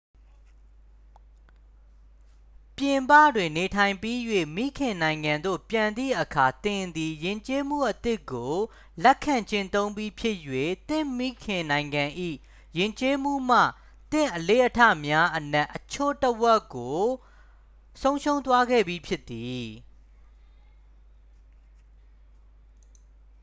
ပြည်ပတွင် နေထိုင်ပြီး၍ မိခင်နိုင်ငံသို့ ပြန်သည့်အခါ သင်သည် ယဉ်ကျေးမှုအသစ်ကို လက်ခံကျင့်သုံးပြီးဖြစ်၍ သင့်မိခင်နိုင်ငံ၏ ယဉ်ကျေးမှုမှ သင့်အလေ့အထများအနက် အချို့အဝက်ကို ဆုံးရှုံးသွားခဲ့ပြီဖြစ်သည်